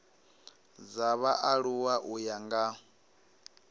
dza vhaaluwa u ya nga